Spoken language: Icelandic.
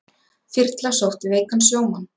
Þyrla sótti veikan sjómann